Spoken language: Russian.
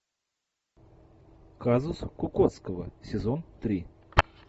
казус кукоцкого сезон три